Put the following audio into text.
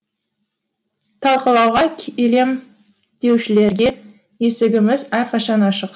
талқылауға келем деушілерге есігіміз әрқашан ашық